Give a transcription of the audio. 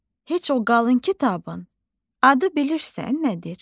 Heç o qalın kitabın adı bilirsən nədir?